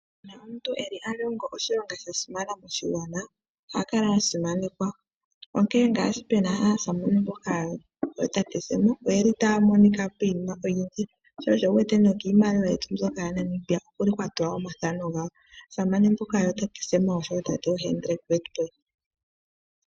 Uuna omuntu eli alongo oshilonga sha simana moshigwana oha kala a simanekwa, onkee ngaashi pe na aasamane mboka yoo tate Sam oye li ta ya monika piinima oyindji. Sho osho wu wete no kiimaliwa yetu mbyoka ya Namibia oku liko kwatulwa omathano gawo. Aasamane mbaka yoo tate Sam oshowo tate Hendrick Witbooi.